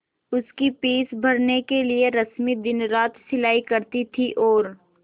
उसकी फीस भरने के लिए रश्मि दिनरात सिलाई करती थी और